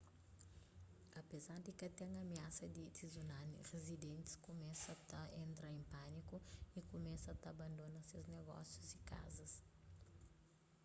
apezar di ka ten amiasa di tsunami rizidentis kumesa ta entra en pâniku y kumesa ta abandona ses negósius y kazas